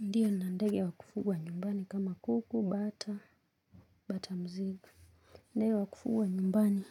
Ndiyo na ndege wakufugwa nyumbani kama kuku, bata, bata mziga. Ndege wakufugwa nyumbani